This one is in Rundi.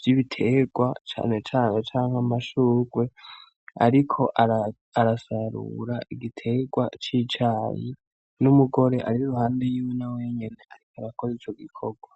vy’ibiterwa cane cane canke amashurwe ariko arasarura igiterwa c’icayi, n’umugore ari iruhande yiwe nawe nyene ariko arakora ico gikorwa.